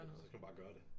Så skal man bare gøre det